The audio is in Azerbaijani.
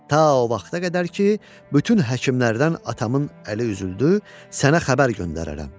Ta o vaxta qədər ki, bütün həkimlərdən atamın əli üzüldü, sənə xəbər göndərərəm.